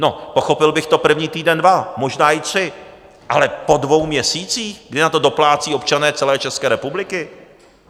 No, pochopil bych to první týden, dva, možná i tři, ale po dvou měsících, kdy na to doplácí občané celé České republiky?